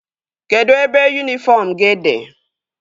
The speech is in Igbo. Kedụ ebe yunifọm gị dị?